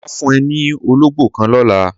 Màá fun e ni ológbó kan lõlá